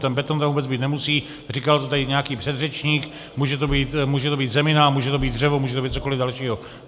Ten beton tam vůbec být nemusí, říkal to tady nějaký předřečník, může to být zemina, může to být dřevo, může to být cokoliv dalšího.